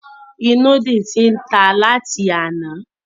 Ìnùdí ti tan láti àná.